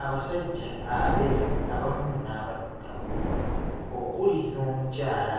Abasajja abeeru abamu n'abaddugavu okuli n'omukyala